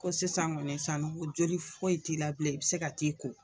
Ko sisan kɔni san joli fɔ ye t'i la bilen, i bɛ se ka t'i ko.